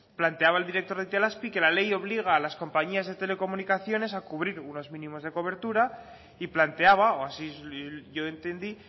planteaba el director de itelazpi que la ley obliga a las compañías de telecomunicaciones a cubrir unos mínimos de cobertura y planteaba o así yo entendí